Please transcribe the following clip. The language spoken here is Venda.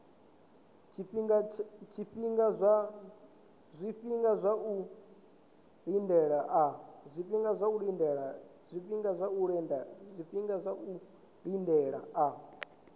zwifhinga zwa u lindela a